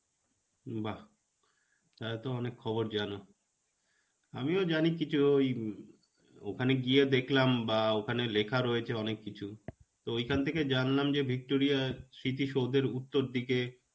বাহ্, তাহলেতো অনেক খবর জানো. আমিও জানি কিছু ও~ ওই ওখানে গিয়ে দেখলাম বা ওখানে লেখা রয়েছে অনেককিছু. তো ঐখান থেকে জানলাম যে Victoria র স্মৃতি সৌধের উত্তর দিকে